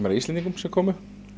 Íslendingum sem komu